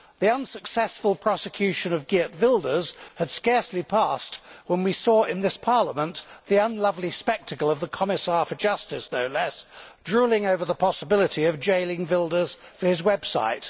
The unsuccessful prosecution of Geert Wilders had scarcely passed when we saw in this Parliament the unlovely spectacle of the Commissar' for Justice, no less, drooling over the possibility of jailing Wilders for his website.